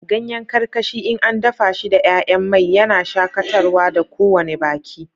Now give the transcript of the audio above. Ganyen karkashi in an dafa shi da 'ya'yan mai, yana shakatarwa da kowane baki.